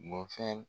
Bɔn fɛn